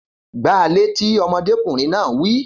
Gba a létí! Ọmọdékùnrin náà wí